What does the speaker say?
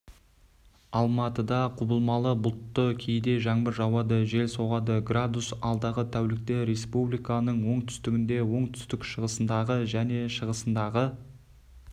алматыда құбылмалы бұлтты кейде жаңбыр жауады жел соғады градус алдағы тәулікте республиканың оңтүстігінде оңтүстік-шығысындағы және шығысындағы